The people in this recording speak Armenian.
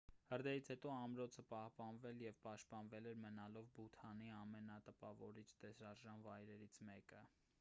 հրդեհից հետո ամրոցը պահպանվել և պաշտպանվել էր մնալով բութանի ամենատպավորիչ տեսարժան վայրերից մեկը